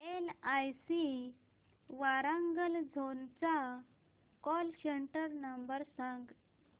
LIC Warangal zone चा call centre number सांग